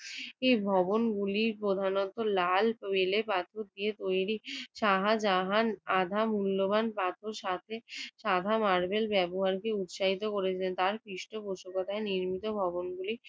এ ভবনগুলি প্রধানত লাল বেলে পাথর দিয়ে তৈরি। শাহজাহান আধা মূল্যবান পাথর সাথে সাদা মারবেল ব্যবহারকে উৎসাহিত করেছেন। তার পৃষ্ঠপোষকতায় নির্মিত ভবনগুলি